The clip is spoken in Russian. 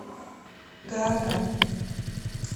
гаага